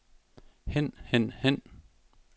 hen hen hen